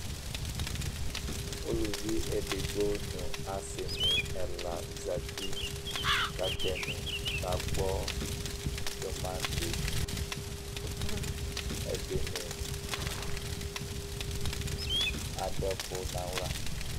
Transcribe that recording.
uluvi edigbo nu asi ni ɛla zati, ku ata ni ka gbɔ tumanti, edini adu ɛku nu aɣla